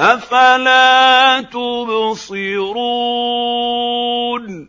أَفَلَا تُبْصِرُونَ